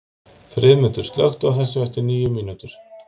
Friðmundur, slökktu á þessu eftir níu mínútur.